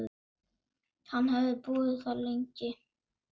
Hann hefði búið þar lengi.